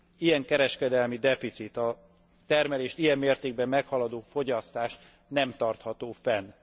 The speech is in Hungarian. Ilyen kereskedelmi deficit, a termelést ilyen mértékben meghaladó fogyasztás nem tartható fenn.